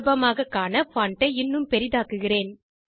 சுலபமாகக் காண பான்ட் ஐ இன்னும் பெரிதாக்குகிறேன்